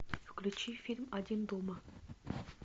включи фильм один дома